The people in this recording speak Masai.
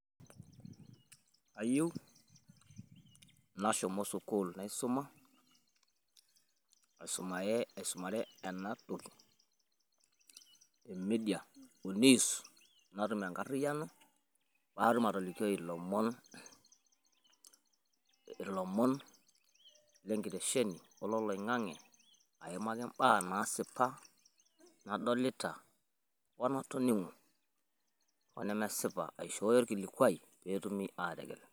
Kayieu nashumu sukuul naisuma, aisumare ena toki e media o news natum enkariyiano. Pee atum atolikioi ilomon ilomon le nkitesheni ololoing'ang'e aimaki m'baa naasipa nadolita o natoning'o, o nemesipa aishooyo olkilikuai pee etumi aategel